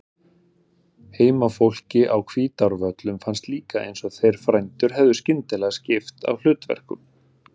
Heimafólki á Hvítárvöllum fannst líka eins og þeir frændur hefðu skyndilega skipt á hlutverkum.